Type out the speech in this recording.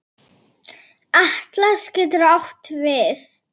Atlas getur átt við